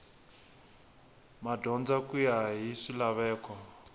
madyondza ku ya hi swilaveko